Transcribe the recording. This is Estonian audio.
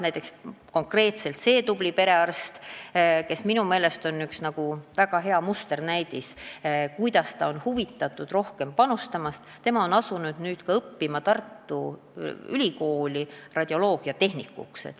Näiteks konkreetselt see tubli perearst, kes minu meelest on nagu sellise perearsti musternäidis, kellel on huvi rohkem panustada, on asunud õppima Tartu Ülikoolis radioloogiatehnikuks.